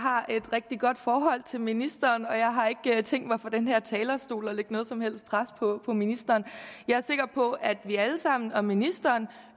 har et rigtig godt forhold til ministeren og jeg har ikke tænkt mig fra den her talerstol at lægge noget som helst pres på ministeren jeg er sikker på at vi alle sammen og ministeren